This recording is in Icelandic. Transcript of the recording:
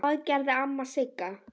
Það gerði amma Sigga.